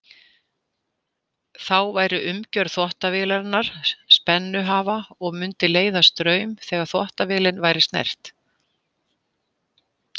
Þá væri umgjörð þvottavélarinnar spennuhafa og mundi leiða straum þegar þvottavélin væri snert.